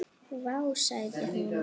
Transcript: Vá, sagði hún.